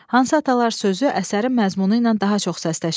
Hansı atalar sözü əsərin məzmunu ilə daha çox səsləşir?